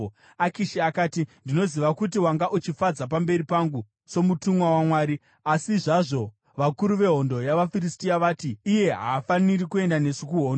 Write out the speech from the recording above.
Akishi akati, “Ndinoziva kuti wanga uchifadza pamberi pangu somutumwa waMwari; asi zvazvo, vakuru vehondo yavaFiristia vati, ‘Iye haafaniri kuenda nesu kuhondo.’